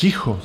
Ticho.